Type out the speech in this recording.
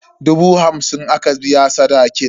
Dubu hamsin aka biya sadakin.